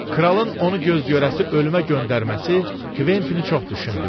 kralın onu göz görəsi ölümə göndərməsi Kventini çox düşündürdü.